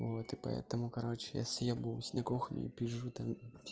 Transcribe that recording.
вот и поэтому короче я съёбываюсь на кухню и пизжу там